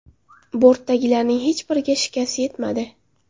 Bortdagilarning hech biriga shikast yetmadi.